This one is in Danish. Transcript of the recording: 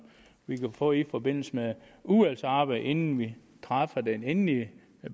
vi kan få i forbindelse med udvalgsarbejdet inden vi træffer den endelige